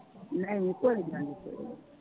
ਨਹੀਂ ਕੋਈ ਗੱਲ ਨੀ ਕੋਈ ਨਾ।